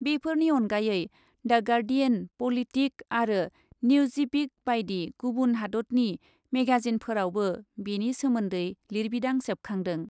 बेफोरनि अनगायै "the Guardian" "Politico" आरो न्युजिबिक बायदि गुबुन हादतनि मेगाजिनफोरावबो बेनि सोमोन्दै लिरबिदां सेबखांदों।